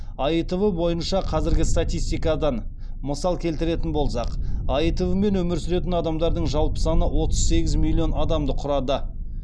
аитв бойынша қазіргі статистикадан мысал келтіретін болсақ аитв мен өмір сүретін адамдардың жалпы саны отыз сегіз миллион адамды құрады